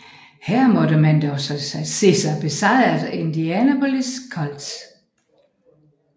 Her måtte man dog se sig besejret af Indianapolis Colts